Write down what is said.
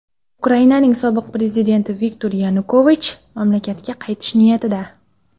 Ukrainaning sobiq prezidenti Viktor Yanukovich mamlakatga qaytish niyatida.